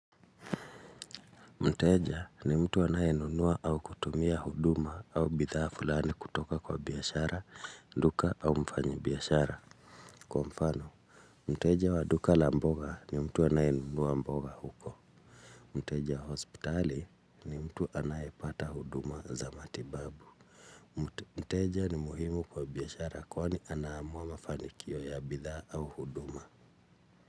Mteja ni mtu anaye nunua au kutumia huduma au bidhaa fulani kutoka kwa biashara, duka au mfanyi biashara. Kwa mfano, mteja wa duka la mboga ni mtu anaye nunua mboga huko. Mteja wa hospitali ni mtu anayepata huduma za matibabu. Mteja ni muhimu kwa biashara kwani anaamua mafanikio ya bidhaa au huduma.